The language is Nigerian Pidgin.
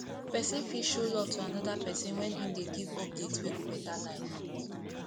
persin fit show love to another person when im de give updates wey go better life